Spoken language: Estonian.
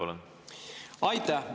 Aitäh!